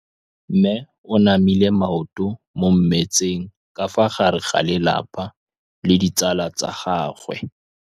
Mme o namile maoto mo mmetseng ka fa gare ga lelapa le ditsala tsa gagwe.